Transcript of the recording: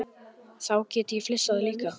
Þá gat ég flissað líka.